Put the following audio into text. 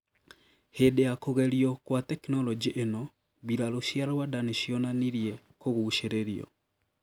Hindi ya kugerio gwa teknoroji ino, mbiraru cia Rwanda nicionanirie kuguciririo,